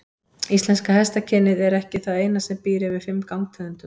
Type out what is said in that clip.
Íslenska hestakynið er ekki það eina sem býr yfir fimm gangtegundum.